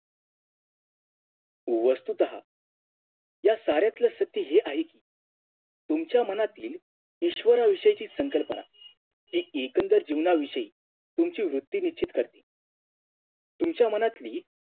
वस्तुतः या साऱ्यातला सत्य हे आहे कि तुमच्या मनातील ईश्वराविषयातील संकल्पना हि एकंदर जीवन विषयी तुमची वृत्ती निश्चित करते तुमच्या मनातली